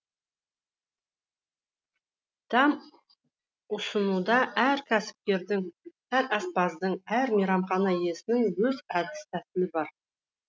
дәм ұсынуда әр кәсіпкердің әр аспаздың әр мейрамхана иесінің өз әдіс тәсілі бар